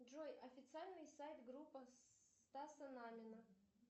джой официальный сайт группа стаса намина